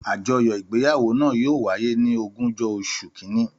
Àjọyọ igbeyawo na yóò wáyé ni ogunjọ osùn kínní.